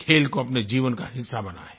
खेल को अपने जीवन का हिस्सा बनायें